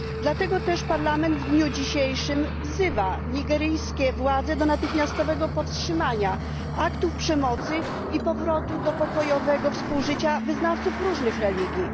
Dlatego też Parlament w dniu dzisiejszym wzywa nigeryjskie władze do natychmiastowego powstrzymania aktów przemocy i powrotu do pokojowego współżycia wyznawców różnych religii.